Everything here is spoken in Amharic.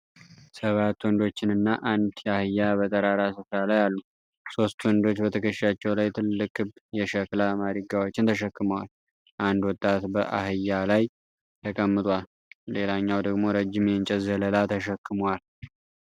ሰባት ወንዶችንና አንድ አህያ በጠራራ ስፍራ ላይ አሉ። ሶስት ወንዶች በትከሻቸው ላይ ትልልቅ ክብ የሸክላ ማድጋዎችን ተሸክመዋል። አንድ ወጣት በአህያ ላይ ተቀምጧል። ሌላኛው ደግሞ ረጅም የእንጨት ዘለላ ተሸክሟል።